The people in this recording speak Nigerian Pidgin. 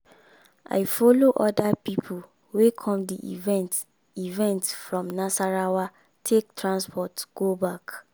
i follow other people wey come di event event from nasarawa take transport go back